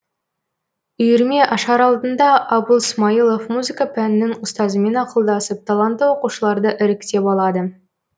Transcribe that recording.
үйірме ашар алдында абыл смайылов музыка пәнінің ұстазымен ақылдасып талантты оқушыларды іріктеп алады